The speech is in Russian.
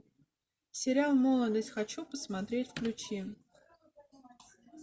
сериал молодость хочу посмотреть включи